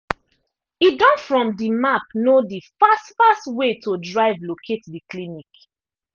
e don from the map know the fast fast way to drive locate the clinic